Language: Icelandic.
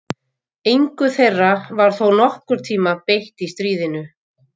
Engu þeirra var þó nokkurn tíma beitt í stríðinu.